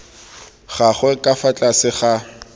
gagwe ka fa tlase ga